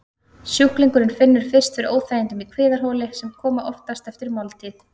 Sjúklingurinn finnur fyrst fyrir óþægindum í kviðarholi, sem koma oftast eftir máltíð.